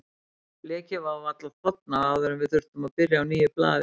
Blekið var varla þornað áður en við þurftum að byrja á nýju blaði.